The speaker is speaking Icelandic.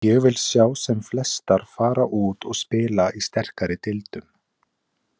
Ég vil sjá sem flestar fara út og spila í sterkari deildum.